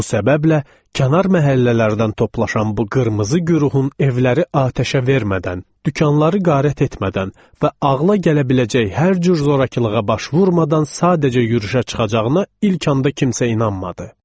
Bu səbəblə kənar məhəllələrdən toplaşan bu qırmızı guruhun evləri atəşə vermədən, dükanları qarət etmədən və ağıla gələ biləcək hər cür zorakılığa baş vurmadan sadəcə yürüşə çıxacağına ilk anda kimsə inanmadı.